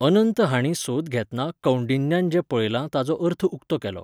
अनंत हांणी सोद घेतना कौंडिन्यान जें पळयलां ताचो अर्थ उक्तो केलो.